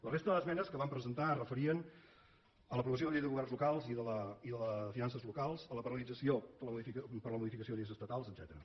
la resta d’esmenes que vam presentar es referien a l’aprovació de la llei de governs locals i de la de finances locals a la paralització per a la modificació de lleis estatals etcètera